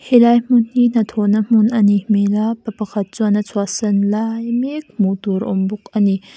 helai hmun hi hna thawh na hmun a nih hmel a pa pakhat chuan a chhuahsan lai mek hmuh tur a awm bawk a ni.